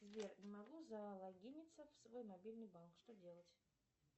сбер не могу залогиниться в свой мобильный банк что делать